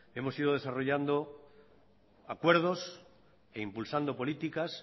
hemos ido desarrollando acuerdos e impulsando políticas